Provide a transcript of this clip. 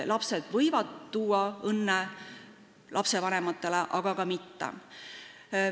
Lapsed võivad tuua vanematele õnne, aga ka mitte.